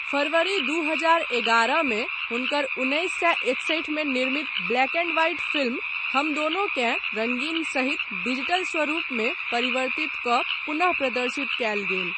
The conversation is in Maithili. फरवरी दू हजार एगारहमे हुनकर उन्नैस सए एकसठिमे निर्मित ब्लैक एन्ड वाइट फिल्म हम दोनोंकेँ रङ्गीन सहित डिजीटल स्वरुपमे परिवर्तित कऽ पुनः प्रदर्शित कयल गेल।